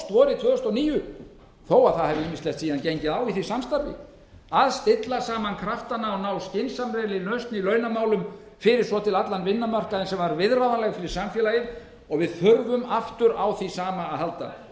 vorið tvö þúsund og níu þó að ýmislegt hafi síðan gengið á í því samstarfi að stilla saman kraftana og ná skynsamlegri lausn í launamálum fyrir svo til allan vinnumarkaðinn sem var viðráðanleg fyrir samfélagið við þurfum aftur á því sama að